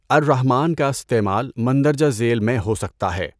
الرحمٰن کا استعمال مندرجہ ذیل میں ہو سکتا ہے۔